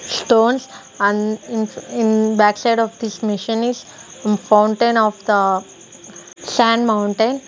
stones and in in backside of this machine is fountain of the sand mountain.